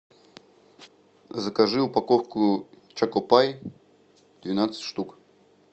закажи упаковку чоко пай двенадцать штук